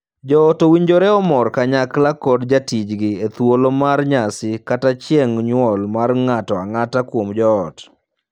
Joot owinjore omor kanyakla kod jatijgi e thuolo mar nyasi kaka chieng' nyuol mar ng'ato ang'ata kuom joot.